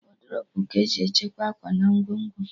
Wọdrobu ka-eji echekwa akwa na ngwongwo